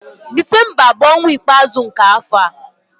Disemba bụ ọnwa ikpeazụ nke afọ.